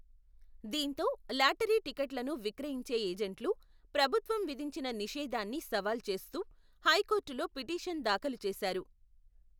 దీంతో లాటరి టికెట్లను విక్రయించే ఏజెంట్లు, ప్రభుత్వం విధించిన నిషేధాన్ని సవాల్ చేస్తూ, హైకోర్టులో పిటీషన్ దాఖలు చేశారు.